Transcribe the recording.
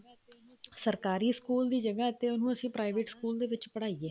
ਸਰਕਾਰੀ ਸਕੂਲ ਦੀ ਜਗ੍ਹਾ ਉਹਨੂੰ ਅਸੀਂ private ਸਕੂਲ ਦੇ ਵਿੱਚ ਪੜਾਈਏ